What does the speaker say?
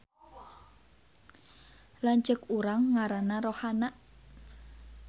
Lanceuk urang ngaranna Rohana